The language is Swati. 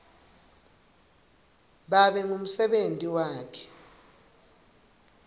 babe ngumsebenti wakhe